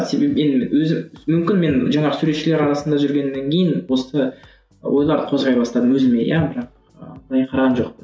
себебі мен өзі мүмкін мен жаңағы суретшілер арасында жүргеннен кейін осы і ойларды қозғай бастадым өзіме иә бірақ ы былай қараған жоқпын